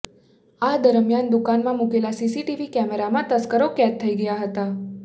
આ દરમિયાન દુકાનમાં મૂકેલા સીસીટીવી કેમેરામાં તસ્કરો કેદ થઈ ગયા હતા